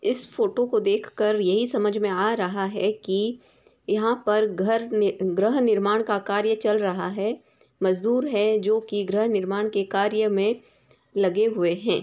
इस फोटो को देखकर यही समझ में आ रहा है कि यहां पर घर नी गृह निर्माण का कार्य चल रहा है | मजदूर है जो कि गृह निर्माण के कार्य में लगे हुए हैं |